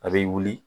A bɛ wuli